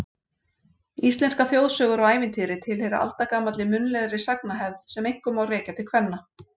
Íslenskar þjóðsögur og ævintýri tilheyra aldagamalli munnlegri sagnahefð sem einkum má rekja til kvenna.